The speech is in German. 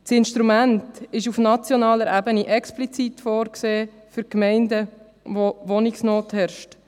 Das Instrument ist auf nationaler Ebene explizit für Gemeinden vorgesehen, in welchen Wohnungsnot herrscht.